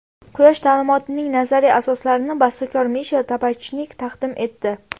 Quyosh ta’limotining nazariy asoslarini bastakor Mishel Tabachnik taqdim etdi.